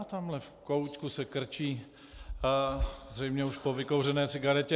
Á, tamhle v koutku se krčí zřejmě už po vykouřené cigaretě.